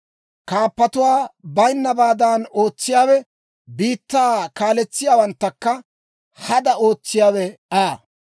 kaappatuwaa bayinnabaadan ootsiyaawe, biittaa kaaletsiyaawanttakka hada ootsiyaawe Aa.